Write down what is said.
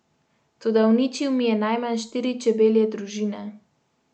Toda uničil mi je najmanj štiri čebelje družine.